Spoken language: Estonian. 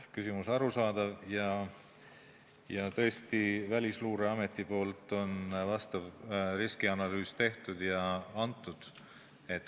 Küsimus on arusaadav ja, tõesti, Välisluureamet on vastava riskianalüüsi teinud ja andnud.